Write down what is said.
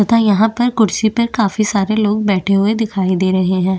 तथा यहाँ पर कुर्सी पर काफी सारे लोग बैठे हुए दिखाई दे रहे है।